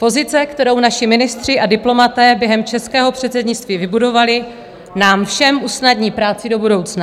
Pozice, kterou naši ministři a diplomaté během českého předsednictví vybudovali, nám všem usnadní práci do budoucna.